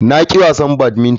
Na ƙi wasa badington.